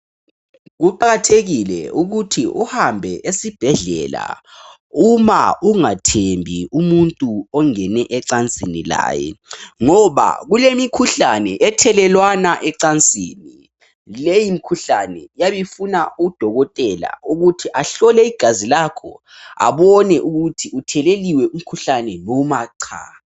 Kuqakathekile ukuthi uhambe esibhedlela uma ungathembi umuntu ongene ecansini laye ngoba kulemikhuhlane ethelelwana ecansini leyimkhuhlane iyabe ifuna udokotela ukuthi ahlole igazi lakho abone ukuthi utheleliwe umkhuhlane noma cha .